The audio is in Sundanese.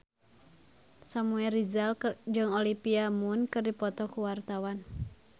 Samuel Rizal jeung Olivia Munn keur dipoto ku wartawan